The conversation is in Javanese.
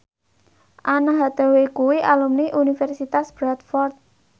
Anne Hathaway kuwi alumni Universitas Bradford